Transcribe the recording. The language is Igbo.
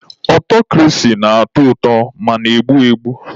Ọtọkrasi na-atọ ụtọ ma na-egbu egbu.